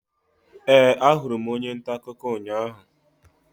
Ee, ahụrụ m onye nta akụkọ ụnyahụ.